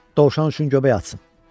Dovşan üçün göbək atsın.